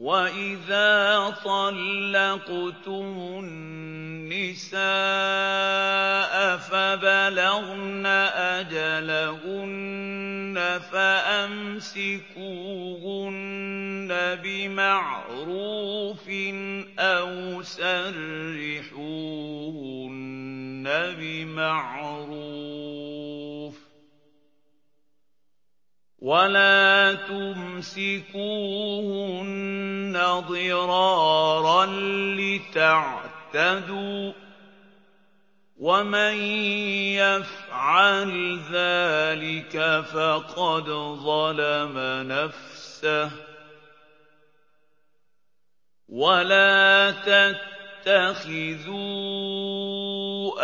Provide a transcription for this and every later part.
وَإِذَا طَلَّقْتُمُ النِّسَاءَ فَبَلَغْنَ أَجَلَهُنَّ فَأَمْسِكُوهُنَّ بِمَعْرُوفٍ أَوْ سَرِّحُوهُنَّ بِمَعْرُوفٍ ۚ وَلَا تُمْسِكُوهُنَّ ضِرَارًا لِّتَعْتَدُوا ۚ وَمَن يَفْعَلْ ذَٰلِكَ فَقَدْ ظَلَمَ نَفْسَهُ ۚ وَلَا تَتَّخِذُوا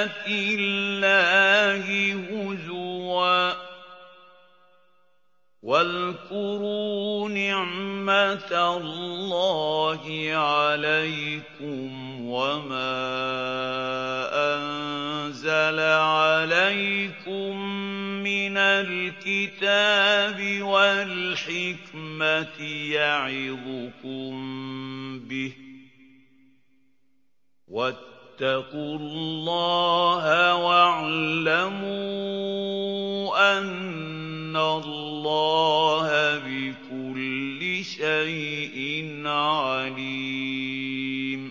آيَاتِ اللَّهِ هُزُوًا ۚ وَاذْكُرُوا نِعْمَتَ اللَّهِ عَلَيْكُمْ وَمَا أَنزَلَ عَلَيْكُم مِّنَ الْكِتَابِ وَالْحِكْمَةِ يَعِظُكُم بِهِ ۚ وَاتَّقُوا اللَّهَ وَاعْلَمُوا أَنَّ اللَّهَ بِكُلِّ شَيْءٍ عَلِيمٌ